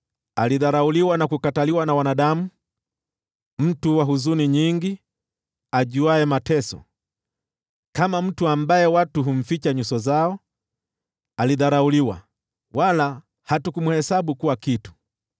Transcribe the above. Alidharauliwa na kukataliwa na wanadamu, mtu wa huzuni nyingi, ajuaye mateso. Kama mtu ambaye watu humficha nyuso zao, alidharauliwa, wala hatukumhesabu kuwa kitu.